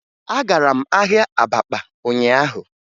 Agara m ahịa Abakpa ụnyaahụ